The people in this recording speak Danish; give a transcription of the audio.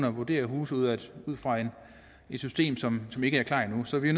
at vurdere huse ud ud fra et system som ikke er klar endu så vi